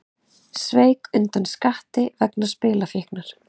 Sveik undan skatti vegna spilafíknar